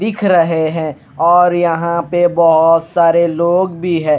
दिख रहे हैं और यहां पे बहुत सारे लोग भी है।